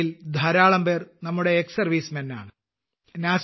അവയിൽ ധാരാളംപേർ നമ്മുടെവിമുക്ത ഭടന്മാരാണ്